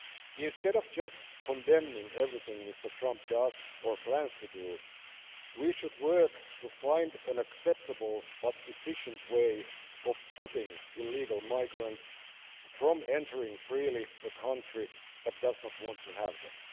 Instead of just condemning everything Mr Trump does, or plans to do, we should work to find an acceptable but efficient way of stopping illegal migrants from entering freely a country that does not want to have them.